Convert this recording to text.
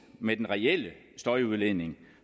med den reelle støjudledning